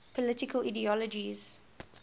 political ideologies